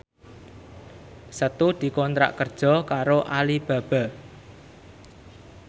Setu dikontrak kerja karo Alibaba